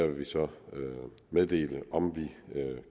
vi så meddele om vi